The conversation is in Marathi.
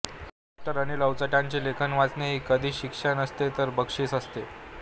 डॉ अनिल अवचटांचे लेखन वाचणे ही कधीच शिक्षा नसते तर बक्षीस असते